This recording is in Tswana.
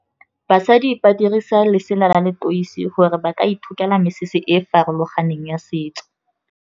Basadi ba dirisa lesela la leteisi gore ba ka ithokela mesese e e farologaneng ya setso.